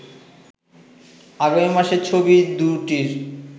আগামী মাসে ছবি দুটির